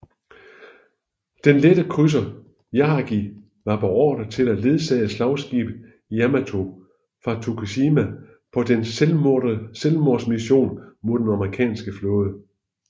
Den lette krydser Yahagi var beordret til at ledsage slagskibet Yamato fra Tokushima på dets selvmordsmission mod den amerikanske flåde